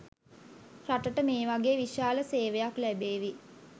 රටට මේ වගේ විශාල සේවයක් ලැබේවි